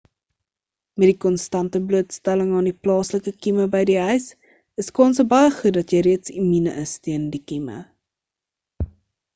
met die konstante blootstelling aan die plaaslike kieme by die huis is kanse baie goed dat jy reeds immuun is teen die kieme